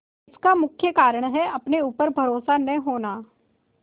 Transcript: इसका मुख्य कारण है अपने ऊपर भरोसा न होना